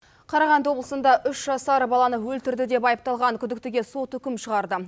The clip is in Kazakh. қарағанды облысында үш жасар баланы өлтірді деп айыпталған күдіктіге сот үкім шығарды